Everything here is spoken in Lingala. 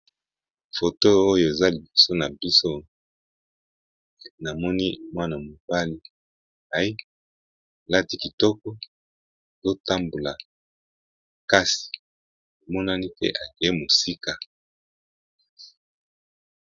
foto oyo eza liboso na biso namoni mwana mobale ai lati kitoko zotambola kasi emonani pe akee mosika